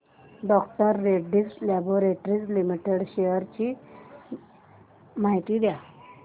डॉ Reddy's laboratories limited shares ची माहिती द्या